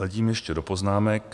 Hledím ještě do poznámek...